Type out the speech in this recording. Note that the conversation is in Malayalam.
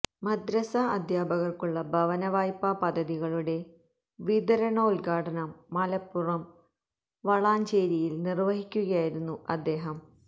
മദ്രസാ അധ്യാപകർക്കുള്ള ഭവനവായ്പാ പദ്ധതികളുടെ വിതരണോദ്ഘാടനം മലപ്പുറം വളാഞ്ചേരിയിൽ നിർവഹിക്കുകയായിരുന്നു അദ്ദേഹം